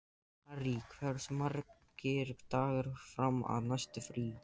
Harry, hversu margir dagar fram að næsta fríi?